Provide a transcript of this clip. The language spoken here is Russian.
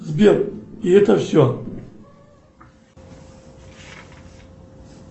сбер и это все